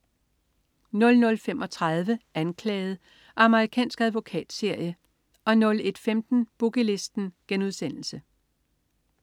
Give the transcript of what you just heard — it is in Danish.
00.35 Anklaget. Amerikansk advokatserie 01.15 Boogie Listen*